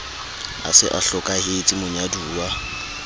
a se a hlokahetse monyaduwa